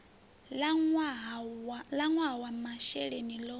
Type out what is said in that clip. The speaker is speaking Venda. ḽa ṅwaha wa masheleni ḽo